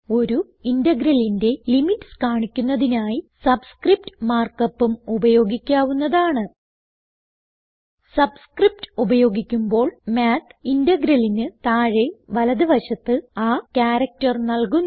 ഒരു integralന്റെ ലിമിറ്റ്സ് കാണിക്കുന്നതിനായി സബ്സ്ക്രിപ്റ്റ് മാർക്ക് upഉം ഉപയോഗിക്കാവുന്നതാണ് സബ്സ്ക്രിപ്റ്റ് ഉപയോഗിക്കുമ്പോൾ മാത്ത് integralന് താഴെ വലത് വശത്ത് ആ ക്യാരക്ടർ നല്കുന്നു